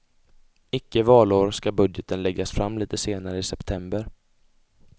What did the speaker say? Icke valår skall budgeten läggas fram lite senare i september.